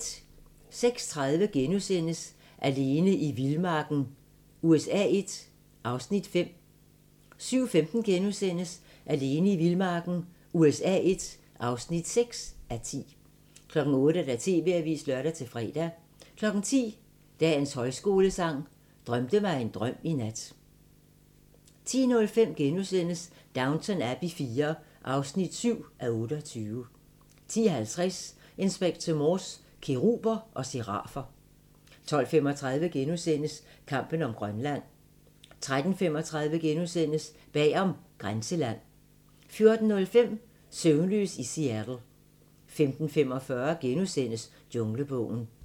06:30: Alene i vildmarken USA I (5:10)* 07:15: Alene i vildmarken USA I (6:10)* 08:00: TV-avisen (lør-fre) 10:00: Dagens Højskolesang: Drømte mig en drøm i nat 10:05: Downton Abbey IV (7:28)* 10:50: Inspector Morse: Keruber og serafer 12:35: Kampen om Grønland * 13:35: Bag om "Grænseland" * 14:05: Søvnløs i Seattle 15:45: Junglebogen *